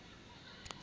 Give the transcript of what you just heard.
mrm e ne e le